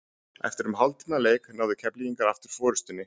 Eftir um hálftíma leik náðu Keflvíkingar aftur forystunni.